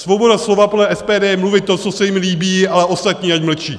Svoboda slova podle SPD je mluvit to, co se jim líbí, ale ostatní ať mlčí.